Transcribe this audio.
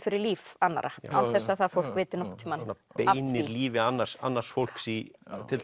fyrir líf annarra án þess að það fólk viti nokkurn tímann svona beinir lífi annars annars fólks í